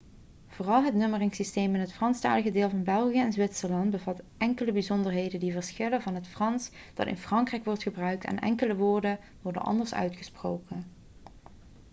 vooral het nummeringssysteem in het franstalige deel van belgië en zwitserland bevat enkele bijzonderheden die verschillen van het frans dat in frankrijk wordt gebruikt en enkele woorden worden anders uitgesproken